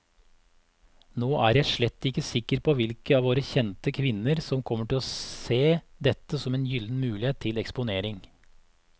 Nå er jeg slett ikke sikker på hvilke av våre kjente kvinner som kommer til å se dette som en gyllen mulighet til eksponering.